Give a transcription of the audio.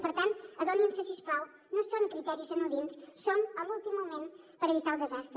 per tant adonin se si us plau no són criteris anodins som a l’últim moment per evitar el desastre